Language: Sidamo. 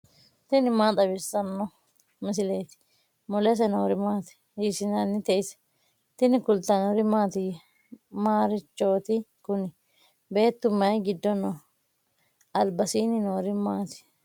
tini maa xawissanno misileeti ? mulese noori maati ? hiissinannite ise ? tini kultannori mattiya? Marichooti Kuni? beettu mayi giddo noo? alibbasiinni noori maatti?